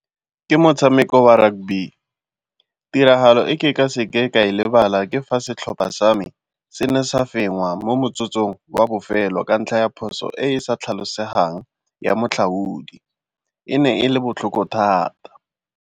Ke motshameko wa rugby. Tiragalo e ke ka seke ka e lebala ke fa setlhopha sa me se ne sa fenngwa mo motsotsong wa bofelo ka ntlha ya phoso e e sa tlhalosegang ya matlhaodi, e ne e le botlhoko thata.